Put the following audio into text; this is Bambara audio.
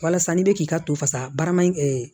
Walasa n'i bɛ k'i ka to fasa baara in